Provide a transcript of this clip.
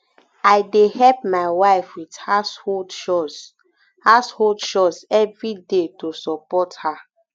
i dey help my wife with household chores household chores every day to support her